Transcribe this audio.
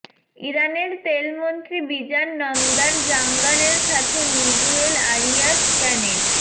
ইরানের তেলমন্ত্রী Bijan Namdar জাঙ্গানের সাথে মিগুয়েল আরিয়াস ক্যানেট